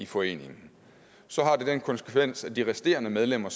foreningen så har det den konsekvens at de resterende medlemmer